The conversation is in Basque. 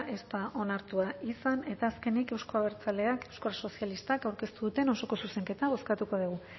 ez da onartua izan eta azkenik euzko abertzaleak euskal sozialistak aurkeztu duten osoko zuzenketa bozkatuko dugu